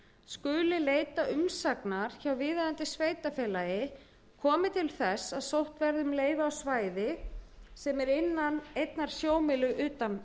skuli leita umsagnar hjá viðeigandi sveitarfélaga komi til þess að sótt verði um leyfi á svæði sem er innan einnar sjómílu utan